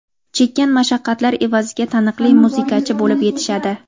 chekkan mashaqqatlari evaziga taniqli muzikachi bo‘lib yetishadi.